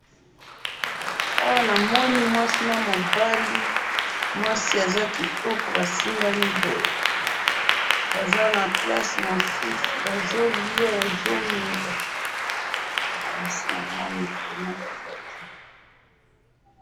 Awa namoni mwasi namobali, mwasi aza kitoko basimbani boye, Baza na place mosusu, bazolya bazomela, eh! Nasinamoni vraiment Baza bien